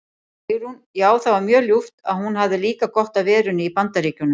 Sigrún: Já það var mjög ljúft en hún hafði líka gott af verunni í BAndaríkjunum.